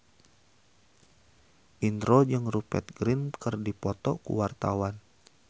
Indro jeung Rupert Grin keur dipoto ku wartawan